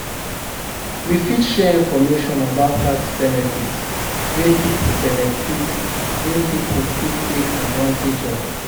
We fit share information about tax benefits wey people benefits wey people fit take advantage of.